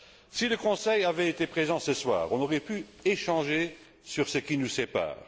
Si le Conseil avait été présent ce soir, nous aurions pu échanger sur ce qui nous sépare